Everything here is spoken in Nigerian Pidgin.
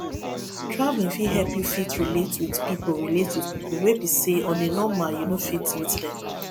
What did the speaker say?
travelling fit help you fit relate with pipo relate with pipo wey be sey on a normal you no fit meet them